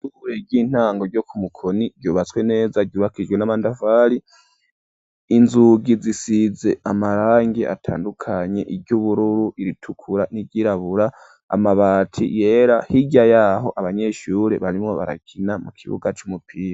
Ishure ry'intango ryo ku mukoni ryubatswe neza yubakishijwe n'amatafari inzugi zisize amarangi atandukanye iry'ubururu iritukura n'iryirabura amabati yera hirya yaho abanyeshure barimo barakina mu kibuga c’umupira.